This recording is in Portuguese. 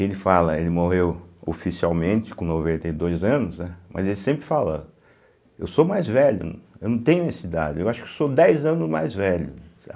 Ele fala, ele morreu oficialmente com noventa e dois anos, né, mas ele sempre fala, eu sou mais velho, eu não tenho essa idade, eu acho que sou dez anos mais velho.